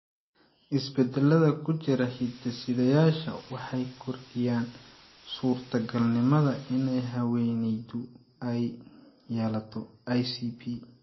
Isbeddellada ku jira hidde-sidayaashan waxay kordhiyaan suurtagalnimada in haweeneydu ay yeelato ICP.